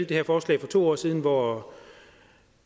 det her forslag for to år siden hvor